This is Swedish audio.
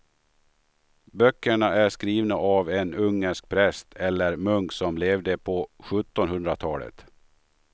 Böckerna är skrivna av en ungersk präst eller munk som levde på sjuttonhundratalet.